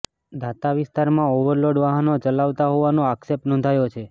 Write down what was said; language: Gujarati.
દાતા વિસ્તારમાં ઓવરલોડ વાહનો ચલાવાતા હોવાનો આક્ષેપ નોંધાયો છે